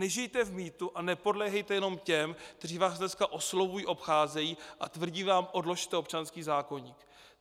Nežijte v mýtu a nepodléhejte jenom těm, kteří vás dneska oslovují, obcházejí a tvrdí vám: odložte občanský zákoník.